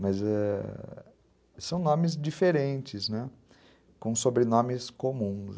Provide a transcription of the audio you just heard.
Mas é... são nomes diferentes, né, com sobrenomes comuns.